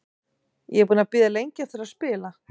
Ég er búinn að bíða lengi eftir að spila.